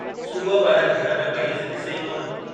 सुबुह ॿाहिरि घर में मरीज़ ॾिसे ई कोन।